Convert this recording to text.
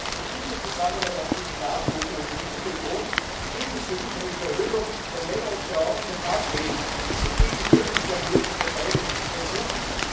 6. März die gute Zusammenarbeit zwischen der NATO und der EU betont, so ist es für mich eine Verhöhnung der Männer und Frauen von Afrin, die sich gegen die türkische Armee zu verteidigen versuchen.